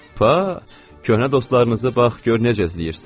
Pa, köhnə dostlarınızı bax gör necə əzizləyirsiz?